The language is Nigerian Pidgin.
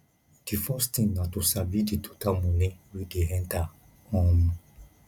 the first thing na to sabi di total money wey dey enter um